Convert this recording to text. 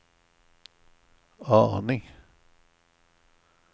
aning